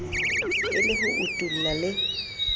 e le ho utulla le